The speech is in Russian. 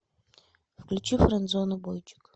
включить френдзону бойчик